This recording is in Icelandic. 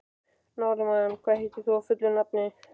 Norðmann, hvað heitir þú fullu nafni?